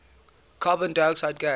carbon dioxide gas